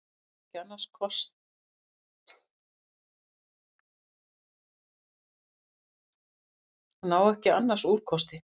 Hún á ekki annars úrkosti.